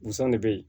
Busan de bɛ yen